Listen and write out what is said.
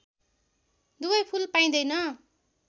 दुवै फुल पाइँदैन